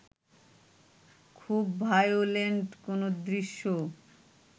খুব ভায়োলেন্ট কোনো দৃশ্য